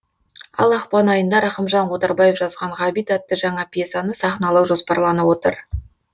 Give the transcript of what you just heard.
ал ақпан айында рақымжан отарбаев жазған ғабит атты жаңа пьесаны сахналау жоспарланып отыр